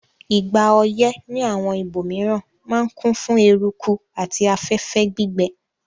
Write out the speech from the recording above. Ìgbà oyẹ́ ni àwon ibòmiran ma n kún fún eruku àti afẹ́fẹ́ gbígbẹ